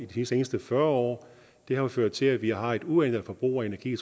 de seneste fyrre år har ført til at vi har et uændret forbrug af energi